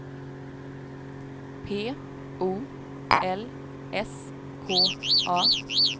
P O L S K A